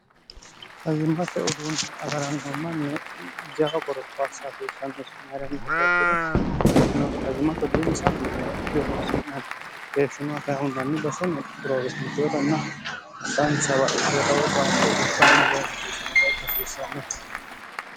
hayimmate uduunni agaranno manni jao gorokoasahasiissannosimii'rami higekiro inayimo uduunnisnedronsonnni keeshshinoakahunnanni bosini biroowesi migoobannah saansawa iirawohaissammo huwa hasiissanno